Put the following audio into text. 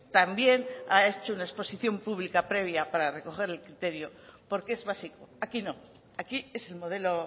también ha hecho una exposición pública previa para recoger el criterio porque es básico aquí no aquí es el modelo